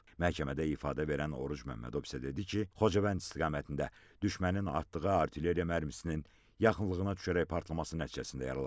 Məhkəmədə ifadə verən Oruc Məmmədov isə dedi ki, Xocavənd istiqamətində düşmənin atdığı artilleriya mərmisinin yaxınlığına düşərək partlaması nəticəsində yaralanıb.